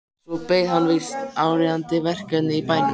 Svo beið þeirra víst áríðandi verkefni í bænum.